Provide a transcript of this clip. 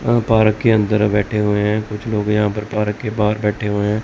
और पार्क के अंदर बैठे हुए हैं कुछ लोग यहां पर पार्क के बाहर बैठे हुए हैं।